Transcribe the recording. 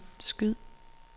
skyd